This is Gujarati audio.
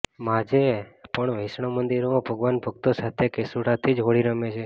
આજે પણ વૈષ્ણવ મંદિરોમાં ભગવાન ભક્તો સાથે કેસુડાંથીજ હોળી રમે છે